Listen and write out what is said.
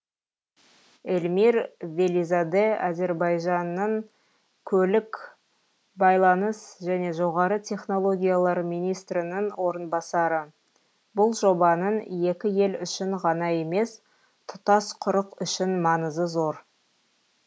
эльмир велизаде әзербайжанның көлік байланыс және жоғары технологиялар министрінің орынбасары бұл жобаның екі ел үшін ғана емес тұтас құрық үшін маңызы зор